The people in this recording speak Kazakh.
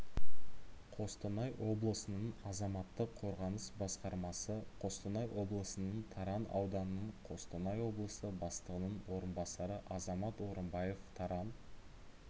қостанай облысының азаматтық қорғаныс басқармасы қостанай облысының таран ауданының қостанай облысы бастығының орынбасары азамат орымбаев таран